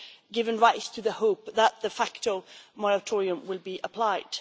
giving rise to the hope that a de facto moratorium will be applied.